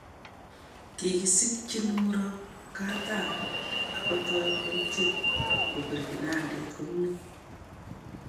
Kikisikchin Muropkatam akotoi kotyen kopire kinandet kominimg